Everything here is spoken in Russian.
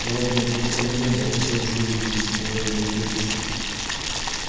народу на платформе не было все уже улеглись утомлённые пирушкой